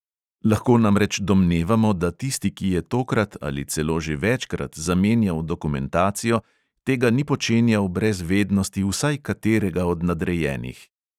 Lahko namreč domnevamo, da tisti, ki je tokrat ali celo že večkrat zamenjal dokumentacijo, tega ni počenjal brez vednosti vsaj katerega od nadrejenih.